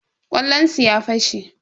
ƙwallonsu ya fashe.